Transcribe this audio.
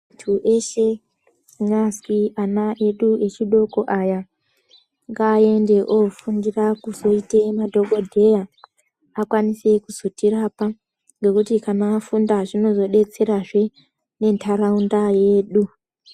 ...ntu eshe, kunyazi ana edu echidoko aya, ngaaende ofundira kuzoite madhokodheya akwanise kuzotirapa, ngekuti kana afunda zvinozodetserazve muntaraunda yedu.